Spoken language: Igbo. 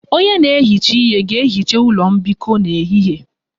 Onye na-ehicha ihe ga-ehicha ụlọ mbikọ n'ehihie